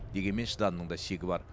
дегенмен шыдамның да шегі бар